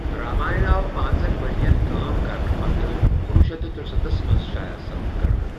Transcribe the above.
راماین آو پانٚژن ورین کٲم کرنہٕ پتہٕ کنوُہ شیتھ تہٕ ترٗسَتتھس منز شائع کرنہٕ ۔